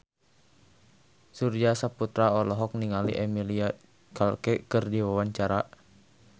Surya Saputra olohok ningali Emilia Clarke keur diwawancara